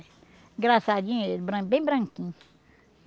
Engraçadinho ele, bran bem branquinho.